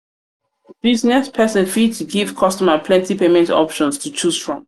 business person fit give customers plenty payment options to choose from